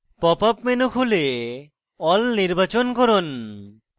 pop up menu খুলে all নির্বাচন করুন